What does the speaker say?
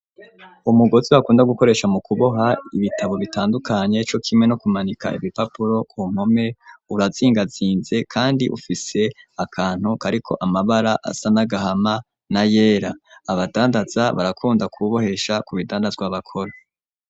Umugozi bakunda gukoresha mu kuboha ibitabo bitandukanye, co kimwe no kumanika ibipapuro nko kumpome urazingatsinze ,kandi ufise akantu kariko amabara asa n'agahama, na yera ,abadandaza barakunda kuwubohesha ku bidandazwa bakora.